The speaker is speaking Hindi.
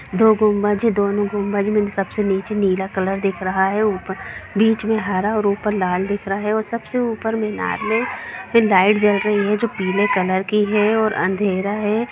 दो गुम्बज है दोनों गुम्बज मे सबसे नीचे नीला कलर दिख रहा है ऊपर बीच मे हरा ओर ऊपर लाल दिख रहा है और सबसे ऊपर मे लाइट जल रही है जो पीले कलर की है और अंधेरा है।